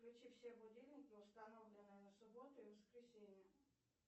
включи все будильники установленные на субботу и воскресенье